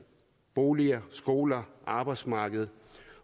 boliger skoler arbejdsmarkedet